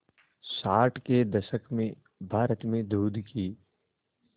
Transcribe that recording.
साठ के दशक में भारत में दूध की